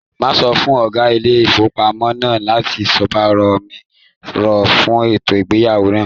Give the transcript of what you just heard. Màá sọ fún ọ̀gá ilé ìfowópamọ́ náà láti gbọ̀rọ̀ mi rò fún ètò ẹ̀yáwó náà